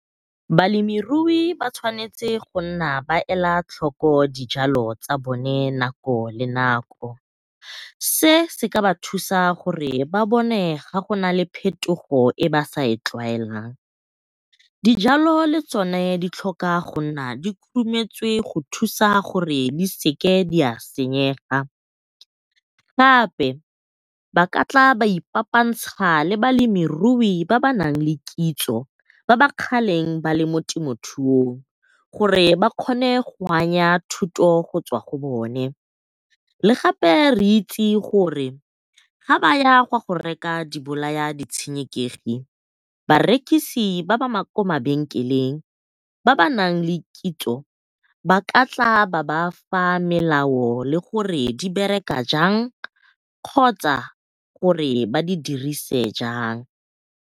Balemirui ba tshwanetse go nna ba ela tlhoko dijalo tsa bone nako le nako, se se ka ba thusa gore ba bone fa go nale phetogo e ba sa e tlwaelang. Dijalo le tsona di tlhoka go nna di khurumetswe go thusa gore di sa senyega, gape ba ka tla ba ifapantsha le balemirui ba ba nang le kitso, ba ba kgaleng ba leng mo temothuong gore ba kgone go anya thuto go tswa go bona. Le gape re itse gore ga baya go bolaya ditshenekegi barekisi ba ba kwa mabenkeleng ba ba naleng kitso ba ka tla ba ba fa melao le gore di bereka jang kgotsa gore ba di dirise jang.